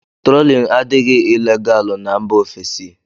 Trólin adịghị ilegalu n'mba ofesi.